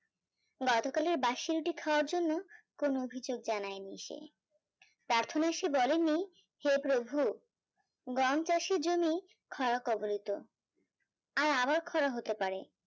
গতকালের বাসি রুটি খাওয়ার জন্য কোনো অভিযোগ জানায়নি সে পার্থনাশী বলেনি হে প্রভু গম চাষী জমি খোঁড়া কোবোনিতো আর আবার খোঁড়া হতে পারে